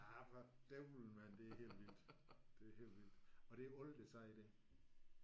Ja for dævlen mand det er helt vildt. Det er helt vildt! Og det er alle der siger det